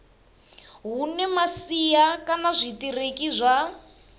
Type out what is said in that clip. hune masia kana zwitiriki zwa